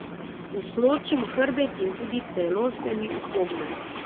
Usločim hrbet in tudi telo se mi upogne.